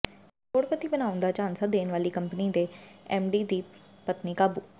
ਕਰੋੜਪਤੀ ਬਣਾਉਣ ਦਾ ਝਾਂਸਾ ਦੇਣ ਵਾਲੀ ਕੰਪਨੀ ਦੇ ਐੱਮਡੀ ਦੀ ਪਤਨੀ ਕਾਬੂ